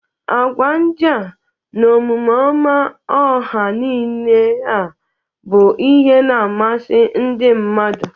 Agwa ndia na Omume ọma ọha nile a bụ ihe na-amasị ndị mmadụ.